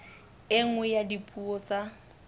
e nngwe ya dipuo tsa